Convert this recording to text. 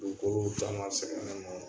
Dugukolo caman sɛgɛnnen kɔ